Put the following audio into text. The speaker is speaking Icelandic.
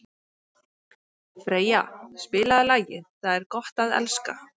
Freyja, spilaðu lagið „Það er gott að elska“.